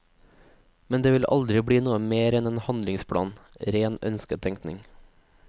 Men det vil aldri bli noe mer enn en handlingsplan, ren ønsketenkning.